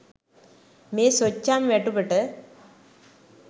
මේ සොච්චම් වැටුපට